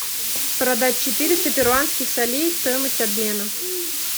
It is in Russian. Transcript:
продать четыреста перуанских солей стоимость обмена